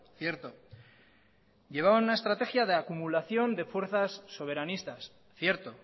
cierto llevaban una estrategia de acumulación de fuerzas soberanistas cierto